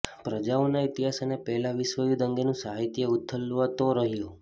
પ્રજાઓના ઈતિહાસ અને પહેલા વિશ્વયુદ્ધ અંગેનું સાહિત્ય ઉથલાવતો રહ્યો